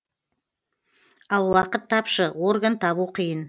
ал уақыт тапшы орган табу қиын